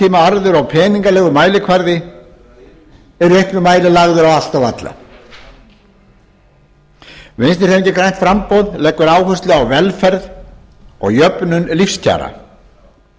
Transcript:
skammtímaarður og peningalegur mælikvarði er í auknum mæli lagður á allt og alla vinstri hreyfingin grænt framboð leggur áherslu á velferð og jöfnun lífskjara